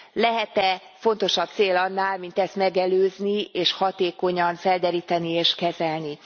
Lehet e fontosabb cél annál, mint ezt megelőzni, és hatékonyan felderíteni és kezelni.